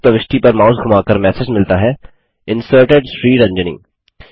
इस प्रविष्टि पर माउस धुमाकर मैसेज मिलता है Inserted श्रीरंजनी